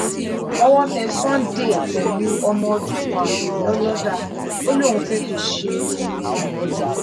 owó tẹ̀ sunday pẹ̀lú ọmọ ọdún kan ààbọ̀ lọ́dọ́dà ó lóun fẹ́ẹ́ fi í ṣe oògùn owó